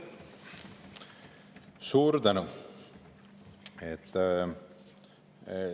Suur tänu!